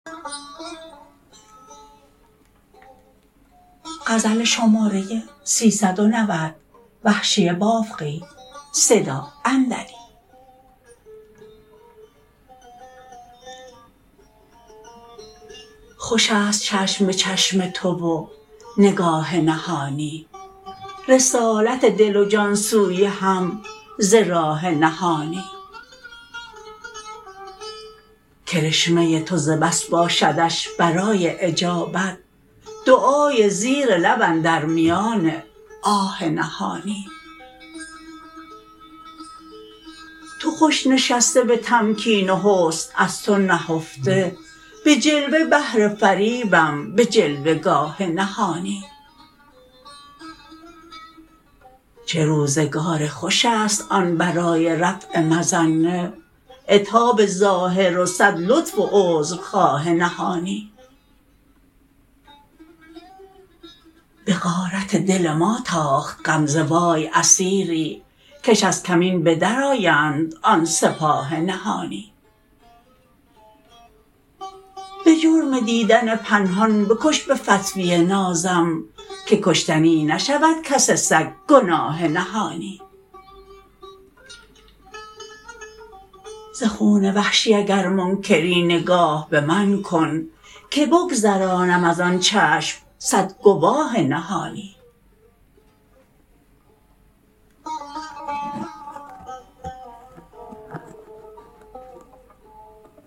خوش است چشم به چشم تو و نگاه نهانی رسالت دل و جان سوی هم ز راه نهانی کرشمه تو ز بس باشدش برای اجابت دعای زیر لب اندر میان آه نهانی تو خوش نشسته به تمکین و حسن از تو نهفته به جلوه بهر فریبم به جلوه گاه نهانی چه روزگار خوش است آن برای رفع مظنه عتاب ظاهر و سد لطف و عذر خواه نهانی به غارت دل ما تاخت غمزه وای اسیری کش از کمین بدرآیند آن سپاه نهانی به جرم دیدن پنهان بکش به فتوی نازم که کشتنی نشود کس سگ گناه نهانی ز خون وحشی اگر منکری نگاه به من کن که بگذارنم از آن چشم سد گواه نهانی